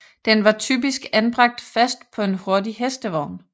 Den var typisk anbragt fast på en hurtig hestevogn